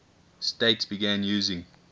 states began using